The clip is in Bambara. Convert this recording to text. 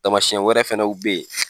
Tamasiyɛn wɛrɛ fɛnɛw bɛ ye.